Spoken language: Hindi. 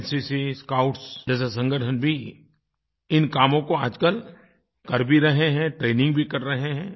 एनसीसी स्काउट्स जैसे संगठन भी इन कामों को आजकल कर भी रहे हैं ट्रेनिंग भी कर रहे हैं